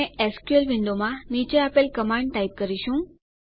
અને એસક્યુએલ વિન્ડોમાં નીચે આપેલ કમાંડ આદેશ ટાઈપ કરીશું